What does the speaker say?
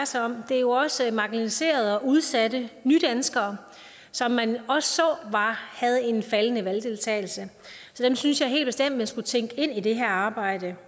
sig om det er også marginaliserede og udsatte nydanskere som man også så havde en faldende valgdeltagelse så dem synes jeg helt bestemt man skulle tænke ind i det her arbejde